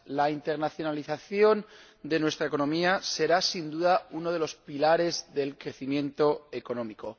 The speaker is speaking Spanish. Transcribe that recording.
La internacionalización de nuestra economía será, sin duda, uno de los pilares del crecimiento económico